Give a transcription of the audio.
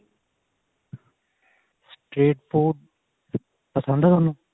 street food ਪਸੰਦ ਆ ਥੋਨੂੰ